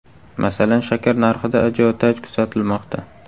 Masalan, shakar narxida ajiotaj kuzatilmoqda.